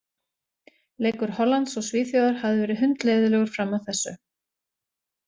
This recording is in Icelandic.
Leikur Hollands og Svíþjóðar hafði verið hundleiðinlegur fram að þessu.